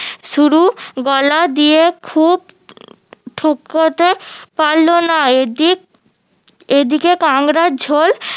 শুরু গলা দিয়ে খুব পারলোনা এদিক এদিকে কাংড়ার ঝোল